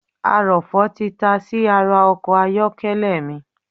Arọ̀fọ̀ tí tasí ara ọkọ̀ ayọ́kẹ́lẹ̀ mi